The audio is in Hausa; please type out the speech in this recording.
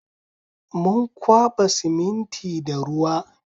Mun kwaɓa siminti da ruwa